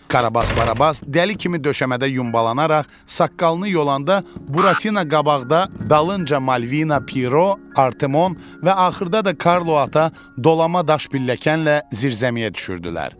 Karabas Barabas dəli kimi döşəmədə yumbalanaraq saqqalını yolanda Buratina qabaqda, dalınca Malvina, Piero, Artemon və axırda da Karlo ata dolama daş pilləkənlərlə zirzəmiyə düşürdülər.